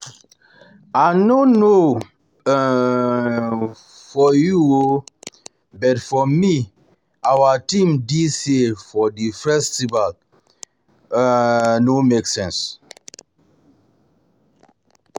I no know um for you oo but for me our theme dis year for the festival no make um no make um sense